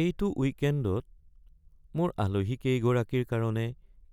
এইটো উইকেণ্ডত মোৰ আলহীকেইগৰাকীৰ কাৰণে